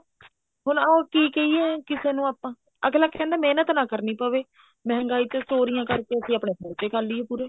ਹੁਣ ਉਹ ਕੀ ਕਹਿਏ ਕਿਸੇ ਨੂੰ ਆਪਾਂ ਅੱਗਲਾ ਕਹਿੰਦਾ ਮਹਿਨਤ ਨਾ ਕਰਨੀ ਪਵੇ ਮਹਿੰਗਾਈ ਚ ਚੋਰੀਆਂ ਕਰਕੇ ਅਸੀਂ ਆਪਣੇ ਖਰਚੇ ਕਰ ਲਈਏ ਪੂਰੇ